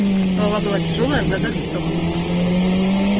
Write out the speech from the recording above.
голова была тяжёлая а в глазах песок